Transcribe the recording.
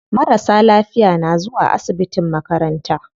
Marasa lafiya na zuwa asibitin makaranta.